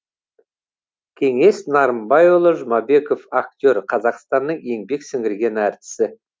кеңес нарымбайұлы жұмабеков актер қазақстанның еңбек сіңірген артисі